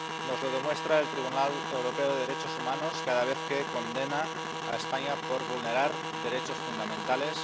Nos lo demuestra el Tribunal Europeo de Derechos Humanos cada vez que condena a España por vulnerar derechos fundamentales.